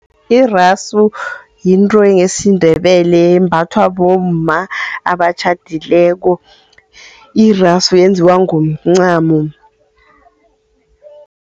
Irasu yinto yesiNdebele embathwa bomma abatjhadileko. Irasu yenziwa ngomncamo.